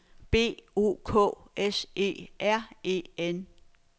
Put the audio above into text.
B O K S E R E N